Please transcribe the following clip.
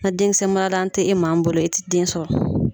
Na denkisɛ maralan tɛ e maa min bolo e tɛ den sɔrɔ.